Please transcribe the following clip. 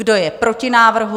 Kdo je proti návrhu?